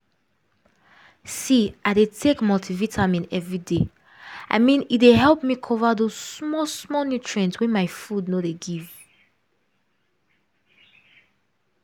see i dey take multivitamin every day. i mean e dey help me cover those small-small nutrient wey my food no dey give